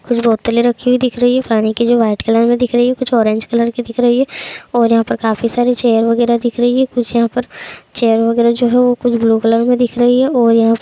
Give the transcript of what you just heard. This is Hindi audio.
कुछ बोतले रखी हुई दिख रही है पानी की जो व्हाइट कलर मे दिख रही है कुछ ऑरेंज कलर की दिख रही है और यहाँ पर काफ़ी सारी चेयर वगैरह दिख रही है। कुछ यहाँ पर चेयर वगैरह जो है वो कुछ ब्लू कलर में दिख रही है और यहाँ --